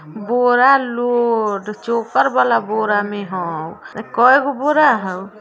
बोरा load चोकर वाला बोरा में होव केएगो बोरा हई।